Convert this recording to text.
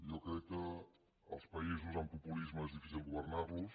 jo crec que els països amb populisme és difícil governar los